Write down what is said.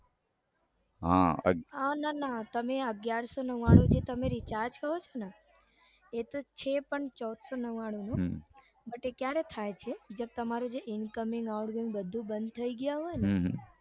હા ના ના તમે અગિયારસો નવ્વાણું નું જે તમે recharge કો છો ને એતો છે પણ ચૌદસો નવ્વાણુનો પણ એતો ક્યારે થાય છે જયારે તમારું incoming outgoing બંધ થઇ ગયા હોય ને હમ